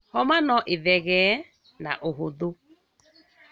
Homa noĩthegee naũhũthũ